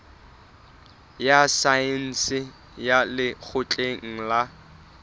ya saense ya lekgotleng la